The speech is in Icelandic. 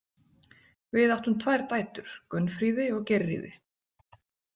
Við áttum tvær dætur: Gunnfríði og Geirríði.